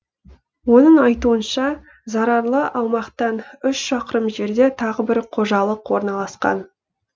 оның айтуынша зарарлы аумақтан үш шақырым жерде тағы бір қожалық орналасқан